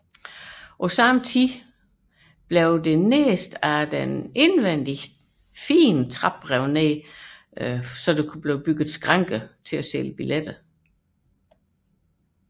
Samtidig blev det nederste forløb af den indvendige pragttrappe revet ned til fordel for skranker til billetsalg